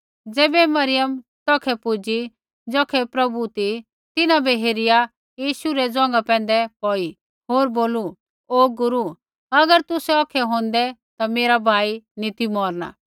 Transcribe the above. ज़ैबै मरियम तौखै पूजी ज़ौखै प्रभु ती ता तिन्हां बै हेरिया यीशु रै ज़ोंघा पैंधै पौड़ी होर बोलू ओ गुरू अगर तुसै औखै होंदै ता मेरा भाई नी ती मौरणा